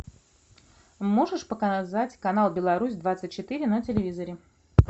можешь показать канал беларусь двадцать четыре на телевизоре